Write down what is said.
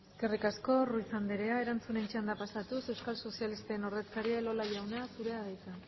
eskerrik asko ruiz anderea erantzunen txandara pasatuz euskal sozialisten ordezkaria elola jauna zurea da hitza